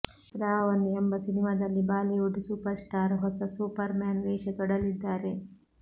ರಾಒನ್ ಎಂಬ ಸಿನಿಮಾದಲ್ಲಿ Bollywood super star ಹೊಸ ಸೂಪರ್ ಮ್ಯಾನ್ ವೇಷ ತೊಡಲಿದ್ದಾರೆ